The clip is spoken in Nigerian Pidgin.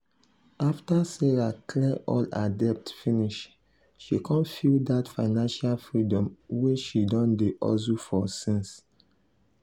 after sarah clear all her debt finish she con feel that financial freedom wey she don dey hustle for since.